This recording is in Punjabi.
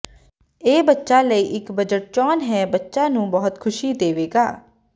ਇਹ ਬੱਚਾ ਲਈ ਇੱਕ ਬਜਟ ਚੋਣ ਹੈ ਬੱਚਾ ਨੂੰ ਬਹੁਤ ਖੁਸ਼ੀ ਦੇਵੇਗਾ